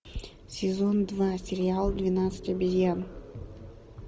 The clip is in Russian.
сезон два сериал двенадцать обезьян